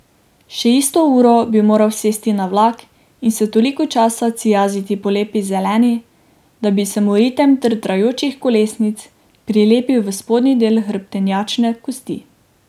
Še isto uro bi moral sesti na vlak in se toliko časa cijaziti po Lepi zeleni, da bi se mu ritem drdrajočih kolesnic prilepil v spodnji del hrbtenjačne kosti.